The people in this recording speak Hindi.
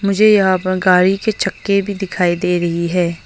मुझे यहां पर गाड़ी के चक्के भी दिखाई दे रही है।